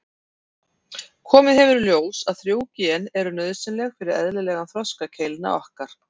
Komið hefur í ljós að þrjú gen eru nauðsynleg fyrir eðlilegan þroska keilna okkar.